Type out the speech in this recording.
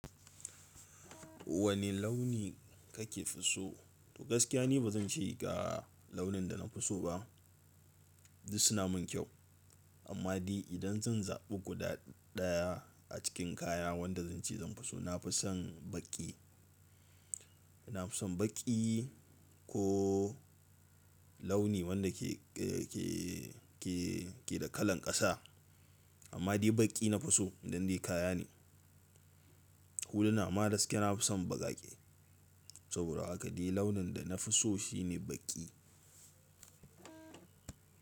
Wane launi kake so? Gaskiya ni bazan ce ga launin da na fi so ba, duk suna mun kyau. Amma dai idan zan zabi guda daya a cikin kaya wanda zan ce zan fi so, na fi son baƙi. Na fi son baƙi ko launi wanda ke, ke, ke, ke da kalan ƙasa. Amma dai baƙi na fi so idan dai kaya ne. Huluna ma gaskiya na fi son baƙaƙe. Saboda haka dai launin da na fi so shine baƙi.